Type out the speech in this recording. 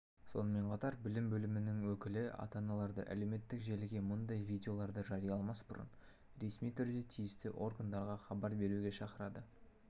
сонымен қатар білім бөлімінің өкілі ата-аналарды әлеуметтік желіге мұндай видеоларды жарияламас бұрын ресми түрде тиісті органдарға хабар беруге шақырады